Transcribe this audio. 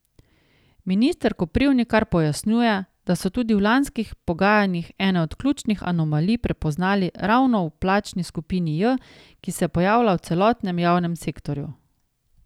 Minister Koprivnikar pojasnjuje, da so tudi v lanskih pogajanjih ene od ključnih anomalij prepoznali ravno v plačni skupini J, ki se pojavlja v celotnem javnem sektorju.